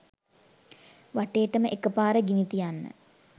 වටේටම එක පාර ගිනි තියන්න